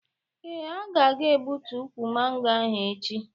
Ee, a ga egbutu ụkwụ mango ahu echi